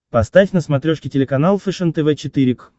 поставь на смотрешке телеканал фэшен тв четыре к